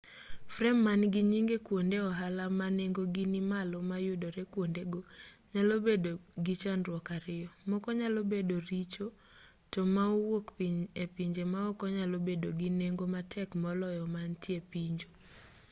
frem man-gi nyinge kuonde ohala ma nengogi nimalo ma yudore kuondego nyalo bedogi chandruok ariyo moko nyalo bedo richo to ma owuok epinje maoko nyalo bedo gi nengo matek moloyo man tie pinju